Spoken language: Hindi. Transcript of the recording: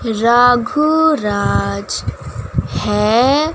राघु राज है।